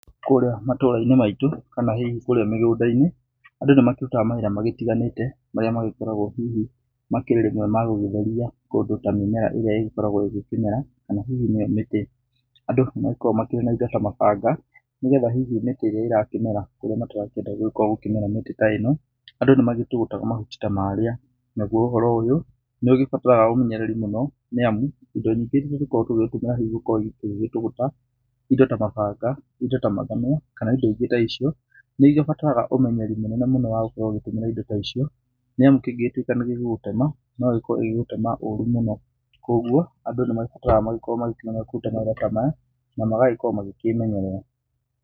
Kũrĩa matũrainĩ maitũ, kana hihi kũrĩa mĩgũnda-inĩ, andũ nĩ makĩrutaga mawĩra magĩtiganĩte marĩa magĩkoragwo hihi makĩrĩ rĩmwe ma gũgĩtheria kũndũ ta mĩmera ĩrĩa ĩgĩkoragwo ĩgĩkĩmera, kana hihi mĩtĩ. Andũ nĩmagĩkoragwo makĩrĩ na indo ta mabanga, nĩgetha hihi mĩtĩ ĩrĩa ĩrakĩmera kũrĩa matarakĩenda gũgĩkorwo gũkĩmera mĩtĩ ta ĩno, andũ nĩ magĩtũgũtaga mahuti ta marĩa. Naguo ũhoro ũyũ, nĩ ũgĩbataraga ũmenyereri mũno nĩ amu indo nyingĩ irĩa tũgĩkoragwo tũkĩtũmĩra hihi gũkorũo tũgĩgĩtũgũta, indo ta mabanga, indo ta mathanwa, kana indo ingĩ ta icio, nĩ cibataraga ũmenyereri mũnene mũno wa gũkorwo ũkĩhũthĩra indo ta icio, nĩ amu kĩngĩgĩtuĩka nĩgĩgũgũtema, nogĩkorwo gĩgĩgũtema ũru mũno. Koguo andũ nĩ magĩbataraga magĩkorwo magĩkĩmyera kũruta mawĩra ta maya na magagĩkorwo makĩmenyerera.